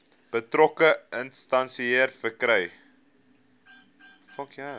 betrokke instansie verkry